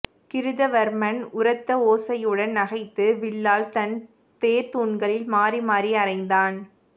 கிருதவர்மன் உரத்த ஓசையுடன் நகைத்து வில்லால் தன் தேர்தூண்களில் மாறி மாறி அறைந்தான்